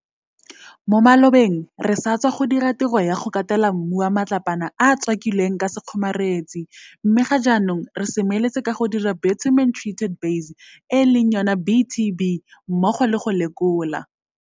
Mo malobeng re satswa go dira tiro ya go katela mmu wa matlapana a a tswaki lweng ka sekgomaretsi mme ga jaanong re seme letse ka go dira bitumen treated base BTB mmogo le go lekola